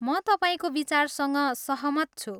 म तपाईँको विचारसँग सहमत छु।